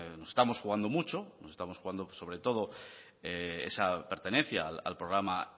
nos estamos jugando mucho nos estamos jugando sobretodo esa pertenencia al programa